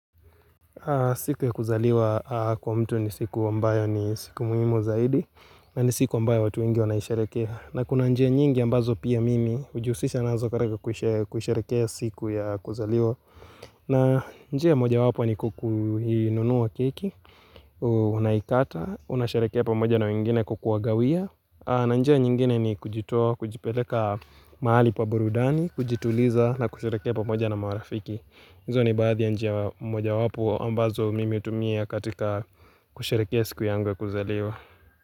Siku ya kuzaliwa kwa mtu ni siku ambayo ni siku muhimu zaidi na ni siku ambayo watu wengi wanaisharehekea. Na kuna njia nyingi ambazo pia mimi ujihusisha nazo karaka kusherehekea siku ya kuzaliwa na njia moja wapo ni kukuinunua keki Unaikata, unasherehekea pamoja na wengine kwa kukuwagawia. Na njia nyingine ni kujitoa, kujipeleka mahali pa burudani, kujituliza na kusherehekea pamoja na marafiki. Hizo ni baadhi ya njia mojawapo ambazo mimi hutumia katika kusherehekea siku yangu kuzaliwa.